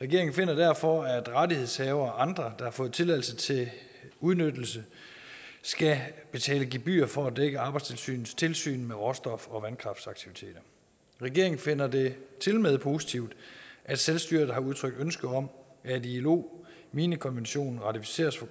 regeringen finder derfor at rettighedshavere og andre der har fået tilladelse til udnyttelse skal betale gebyr for at dække arbejdstilsynets tilsyn med råstof og vandkraftsaktiviteter regeringen finder det tilmed positivt at selvstyret har udtrykt ønske om at ilo minekonventionen ratificeres for